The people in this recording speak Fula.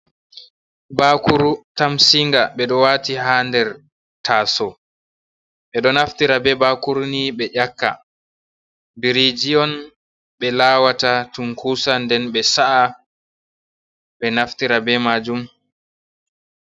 Bakuru tamsinga ɓeɗo waati ha nder taaso. Ɓeɗo naftira be bakuru ni be ƴakka. Biriji on ɓe lawata tunkusa nden ɓe sa’a ɓe naftira be majum.